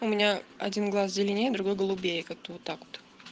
у меня один глаз зеленее другой голубее как-то вот так вот